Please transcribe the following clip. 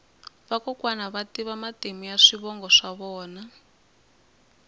vakokwani va tiva matimu ya swivongo swa vona